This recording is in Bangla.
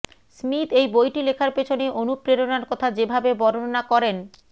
স্মিথ এই বইটি লেখার পেছনে অনুপ্রেরণার কথা যে ভাবে বর্ণনা করেনঃ